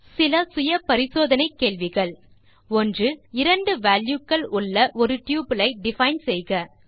தீர்வு காண self assessment கேள்விகள் 1இரண்டு வால்யூஸ் உள்ள ஒரு டப்பிள் ஐ டிஃபைன் செய்க